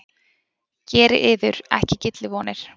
Gerið yður ekki gyllivonir!